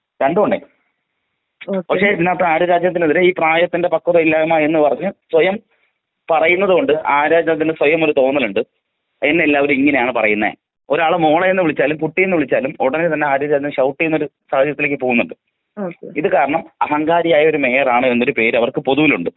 പക്ഷെ ആര്യ രാജേന്ദ്രനെ പ്രായത്തിൻറ പക്വതയില്ലായ്മ എന്ന് പറഞ്ഞ് സ്വയം പറയുന്നതോണ്ട് ആര്യ രാജേന്ദ്രന് സ്വയം ഒരു തോന്നലുണ്ട്.എന്നെ എല്ലാവരും ഇങ്ങനെയാണ് പറയുന്നത് പിന്നെ ഒരാളെ മോളേന്ന് വിളിച്ചാലും കുട്ടീന്ന് വിളിച്ചാലും ഉടനെ തന്നെ ആര്യ രാജേന്ദ്രൻ ഷൌട്ട് ചീയ്യുന്നൊരു സാഹചര്യത്തിലേക്ക് പോകുന്നുണ്ട്. ഇത് കാരണം അഹങ്കാരിയായ ഒരു മേയറാണ് എന്നൊരു പേര് അവർക്ക് പൊതുവിലുണ്ട്‌.